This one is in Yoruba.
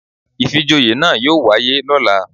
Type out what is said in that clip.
Ìfijoyè náà yóò wáyé lóla